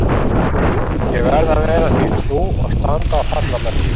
Ég varð að vera því trú og standa og falla með því.